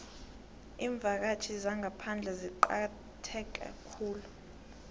iimvakatjhi zangaphandle zicakatheke khulu